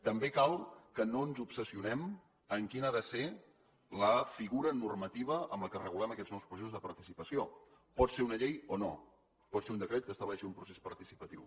també cal que no ens obsessionem en quina ha de ser la figura normativa amb què regulem aquests nous processos de participació pot ser una llei o no pot ser un decret que estableixi un procés participatiu